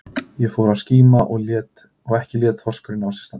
Það fór að skíma og ekki lét þorskurinn á sér standa.